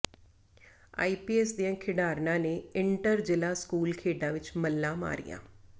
IPS ਦੀਆਂ ਖਿਡਾਰਨਾਂ ਨੇ ਇੰਟਰ ਜ਼ਿਲ੍ਹਾ ਸਕੂਲ ਖੇਡਾਂ ਵਿੱਚ ਮੱਲਾਂ ਮਾਰੀਆਂ